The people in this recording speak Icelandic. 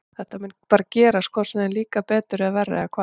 Þetta mun bara gerast hvort sem þeir, þeim líkar betur eða verr eða hvað?